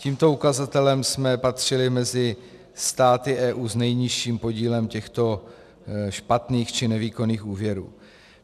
Tímto ukazatelem jsme patřili mezi státy EU s nejnižším podílem těchto špatných či nevýkonných úvěrů.